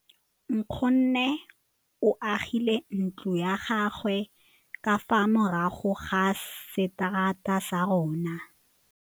Nkgonne o agile ntlo ya gagwe ka fa morago ga seterata sa rona.